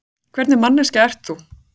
Hvernig manneskja ert þú?